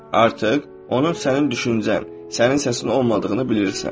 Artıq onun sənin düşüncən, sənin səsin olmadığını bilirsən.